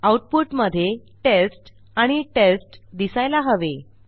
आऊटपुटमधे टेस्ट आणि टेस्ट दिसायला हवे